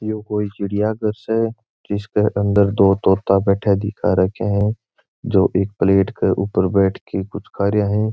यो कोई चिड़िया घर से जिसके अंदर दो तोता बैठा दिखा रखया है जो एक प्लेट के ऊपर बैठ के कुछ खा रहे है।